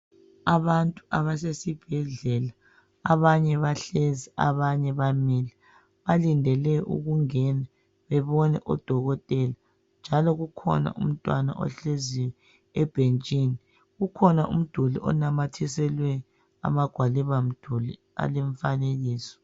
Abantu abasesibhedlela abanye bahlezi abanye bamile balidele ukungena bebone udokotela njalo kukhona umntwana ohlezi ebhentshini ukukhona umduli onamathiselwe amagwaliba mduli alemfanekiso